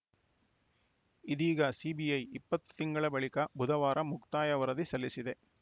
ಇದೀಗ ಸಿಬಿಐ ಇಪ್ಪತ್ತು ತಿಂಗಳ ಬಳಿಕ ಬುಧವಾರ ಮುಕ್ತಾಯ ವರದಿ ಸಲ್ಲಿಸಿದೆ